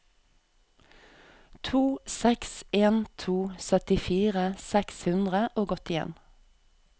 to seks en to syttifire seks hundre og åttien